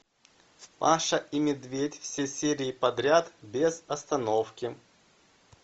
маша и медведь все серии подряд без остановки